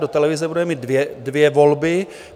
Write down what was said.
Do televize budeme mít dvě volby.